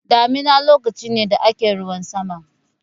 Damina lokaci ne da ake ruwan sama.